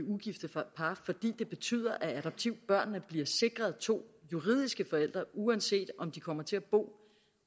det betyder at adoptivbørnene bliver sikret to juridiske forældre uanset om de kommer til at bo